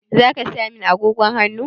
Zaka saya min agogon hannu?